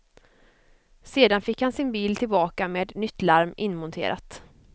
Sedan fick han sin bil tillbaka med nytt larm inmonterat.